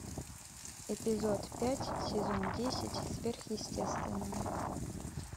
эпизод пять сезон десять сверхъестественное